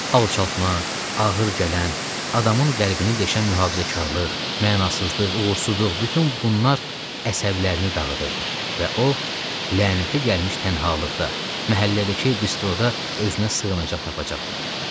Alçaltma, ağır gələn, adamın qəlbini deşən mühafizəkarlıq, mənasızlıq, uğursuzluq, bütün bunlar əsəblərini dağıdırdı və o lənətə gəlmiş tənhalıqda, məhəllədəki bistroda özünə sığınacaq tapacaqdı.